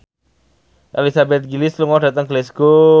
Elizabeth Gillies lunga dhateng Glasgow